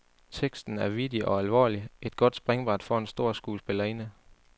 Teksten er vittig og alvorlig, et godt springbræt for en stor skuespillerinde.